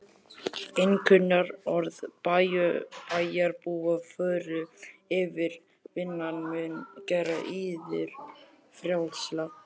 Einkunnarorð bæjarbúa voru: yfirvinnan mun gera yður frjálsa.